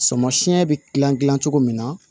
Samasiyɛn bɛ gilan cogo min na